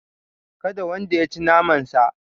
Kada wanda yaci naman sa